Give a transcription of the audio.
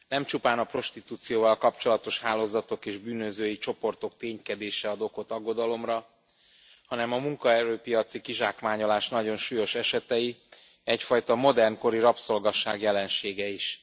Nem csupán a prostitúcióval kapcsolatos hálózatok és bűnözői csoportok ténykedése ad okot aggodalomra, hanem a munkaerőpiaci kizsákmányolás nagyon súlyos esetei, egyfajta modernkori rabszolgaság jelensége is.